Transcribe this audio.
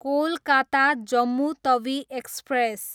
Kolkata, Jammu Tawi express